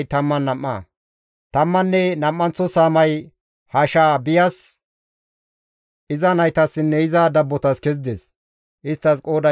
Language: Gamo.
Tammanne nam7anththo saamay Hashaabiyas, iza naytassinne iza dabbotas kezides; isttas qooday 12.